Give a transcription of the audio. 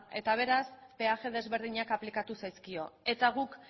eta beraz peaje desberdina aplikatu zaizkio eta guk